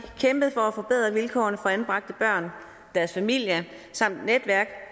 kæmpet for at forbedre vilkårene for anbragte børn og deres familier samt netværk